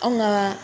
Anw ka